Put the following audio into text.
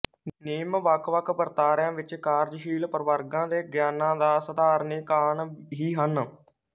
ਨਿਯਮ ਵੱਖ ਵੱਖ ਵਰਤਾਰਿਆ ਵਿੱਚ ਕਾਰਜਸ਼ੀਲ ਪ੍ਰਵਰਗਾਂ ਦੇ ਗਿਆਨਾਂ ਦਾ ਸਾਧਾਰਣੀਕਾਣ ਹੀ ਹਨ